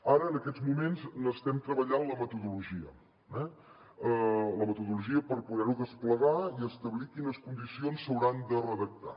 ara en aquests moments n’estem treballant la metodologia eh la metodologia per poder ho desplegar i establir quines condicions s’hauran de redactar